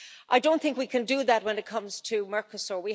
I don't think we can do that when it comes to Mercosur.